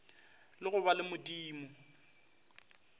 la go ba le modumo